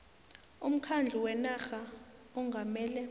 umkhandlu wenarha ongamele